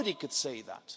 Nobody could say that!